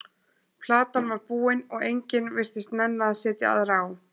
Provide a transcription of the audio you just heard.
Platan var búin og enginn virtist nenna að setja aðra á.